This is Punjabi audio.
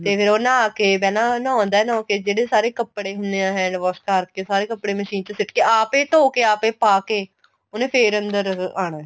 ਤੇ ਫੇਰ ਉਹ ਨਹਾ ਕੇ ਪਹਿਲਾਂ ਨਾਹੁੰਦਾ ਨਹਾ ਕੇ ਜਿਹੜੇ ਸਾਰੇ ਕਪੜੇ ਹੁੰਨੇ ਏ hand wash ਉਤਾਰ ਕੇ ਸਾਰੇ ਕਪੜੇ machine ਚ ਸਿੱਟ ਕੇ ਆਪ ਈ ਧੋ ਕੇ ਆਪ ਏ ਪਾ ਕੇ ਉਹਨੇ ਫੇਰ ਅੰਦਰ ਆਣਾ